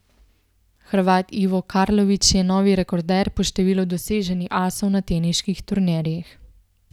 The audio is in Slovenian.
Hrvat Ivo Karlović je novi rekorder po številu doseženih asov na teniških turnirjih.